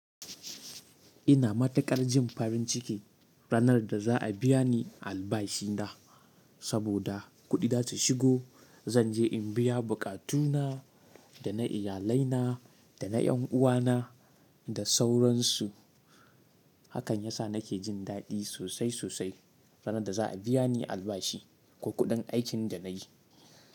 Ina matukar jin farin ciki ranar da za a biya ni albashi na saboda kuɗi za su shigo. Zan je in biya buƙatu na da na iyalai na da na yan uwa na da sauransu. Hakan ya sa nake jin daɗi sosai sosai ranar da za a biya ni albashi ko kuɗin aikin da na yi.